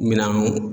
Minɛnw